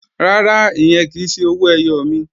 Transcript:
Rárá, ìyẹn kì í ṣe owó ẹyọ mi